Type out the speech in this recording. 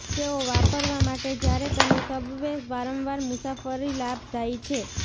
તેઓ વાપરવા માટે જ્યારે તમે સબવે વારંવાર મુસાફરી લાભદાયી છે